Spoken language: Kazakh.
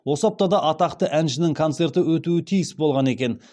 осы аптада атақты әншінің концерті өтуі тиіс болған екен